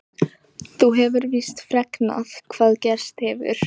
Þú hefur víst fregnað hvað gerst hefur?